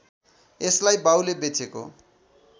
यसलाई बाउले बेचेको